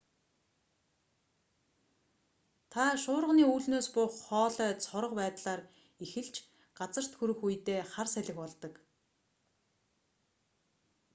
тэд шуурганы үүлнээс буух хоолой цорго байдлаар эхэлж газарт хүрэх үедээ хар салхи болдог